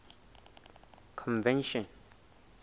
convention